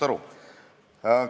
Jah, aitäh!